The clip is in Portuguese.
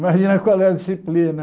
Imagina qual é a disciplina.